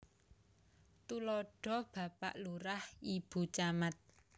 Tuladha Bapak Lurah Ibu Camat